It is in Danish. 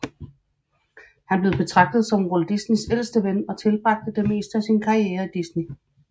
Han blev betragtet som Walt Disneys ældste ven og tilbragte det meste af sin karriere i Disney